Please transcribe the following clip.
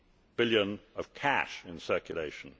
billion of cash in circulation.